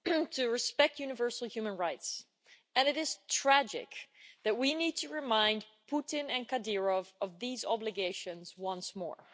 to respect universal human rights, and it is tragic that we need to remind Putin and Kadyrov of these obligations once more.